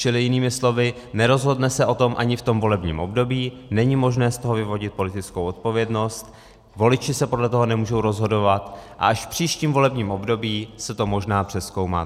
Čili jinými slovy, nerozhodne se o tom ani v tom volebním období, není možné z toho vyvodit politickou odpovědnost, voliči se podle toho nemůžou rozhodovat a až v příštím volebním období se to možná přezkoumá.